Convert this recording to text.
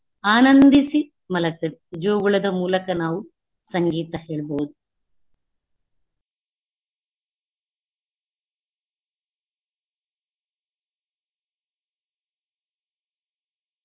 ಆನಂದಿಸಿ ಮಲಗ್ತದೆ ಜೋಗುಳದ ಮೂಲಕ ನಾವು ಸಂಗೀತ ಹೇಳ್ಬೋದು.